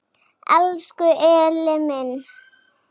Elsku Elli minn.